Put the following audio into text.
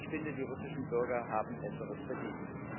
Ich finde, die russischen Bürger haben Besseres verdient.